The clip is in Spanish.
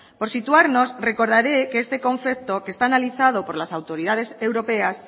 por situarnos recordaré que este concepto que está analizado por las autoridades europeas